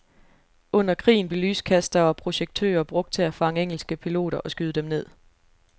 Under krigen blev lyskastere og projektører brugt til at fange engelske piloter og skyde dem ned.